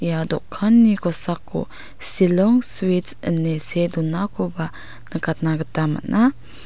ia dokanni kosako silong suits ine see donakoba nikatna gita man·a.